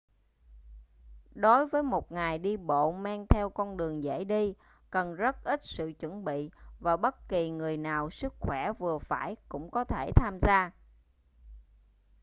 đối với một ngày đi bộ men theo con đường dễ đi cần rất ít sự chuẩn bị và bất kỳ người nào sức khỏe vừa phải cũng có thể tham gia